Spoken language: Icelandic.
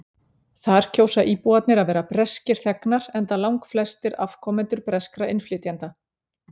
þar kjósa íbúarnir að vera breskir þegnar enda langflestir afkomendur breskra innflytjenda